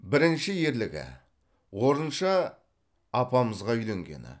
бірінші ерлігі орынша апамызға үйленгені